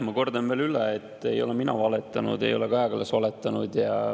Ma kordan veel üle, et ei ole mina valetanud, ei ole Kaja Kallas valetanud.